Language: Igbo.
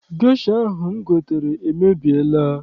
Gesha ahụ m gotere emebiela.